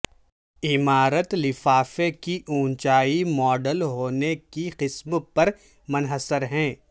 عمارت لفافے کی اونچائی ماڈل ہونے کی قسم پر منحصر ہے